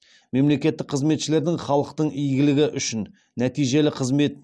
мемлекеттік қызметшілердің халықтың игілігі үшін нәтижелі қызмет